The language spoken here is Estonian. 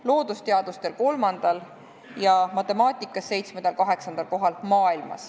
– loodusteadustes kolmandal ja matemaatikas seitsmendal-kaheksandal kohal.